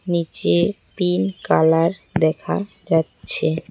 নীচে pink colour দেখা যাচ্ছে।